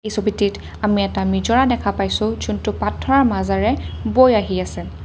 এই ছবিটিত আমি এটা নিজৰা দেখা পাইছোঁ জোনটো পত্থৰৰ মাজেৰে বৈ আহি আছে।